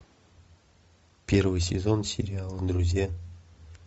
первый сезон сериала друзья